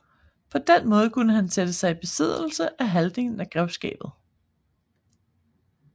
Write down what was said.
På den måde kunne han sætte sig i besiddelse af halvdelen af grevskabet